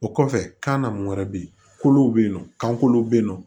O kɔfɛ kan na mun wɛrɛ bɛ yen ko bɛ yen nɔ kan kolow bɛ yen nɔ